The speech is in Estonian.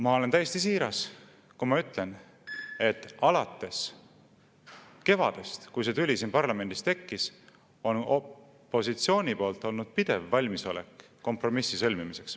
Ma olen täiesti siiras, kui ma ütlen, et alates kevadest, kui see tüli siin parlamendis tekkis, on opositsioonil olnud pidev valmisolek kompromissi sõlmimiseks.